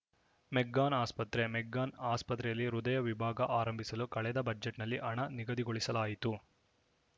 McGann ಆಸ್ಪತ್ರೆ McGann ಆಸ್ಪತ್ರೆಯಲ್ಲಿ ಹೃದಯ ವಿಭಾಗ ಆರಂಭಿಸಲು ಕಳೆದ ಬಜೆಟ್‌ನಲ್ಲಿ ಹಣ ನಿಗದಿಗೊಳಿಸಲಾಯಿತು